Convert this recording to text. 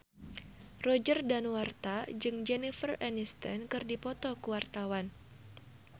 Roger Danuarta jeung Jennifer Aniston keur dipoto ku wartawan